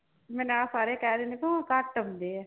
ਮੈਨੂੰ ਆਹ ਸਾਰੇ ਕਹਿ ਦਿੰਦੇ ਤੂੰ ਘੱਟ ਆਉਂਦੇ ਆ।